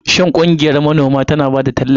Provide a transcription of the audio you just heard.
Shin ƙungiyar manoma tana ba da tallafi?